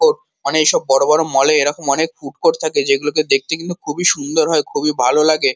Court. অনে এইসব বড় বড় মল এ এইসব ফুড কোর্ট থাকে যেগুলোকে দেখতে এরকম খুবই সুন্দর হয় খুবই ভালো লাগে।